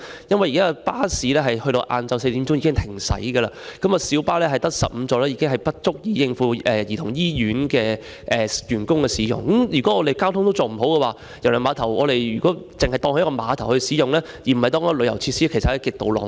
因為現時的巴士在下午4時已經停駛，而只有16座的小巴是不足以應付香港兒童醫院的員工使用，如果我們連交通安排也做不好，只把郵輪碼頭作為碼頭使用，而不是旅遊設施，其實是極度浪費。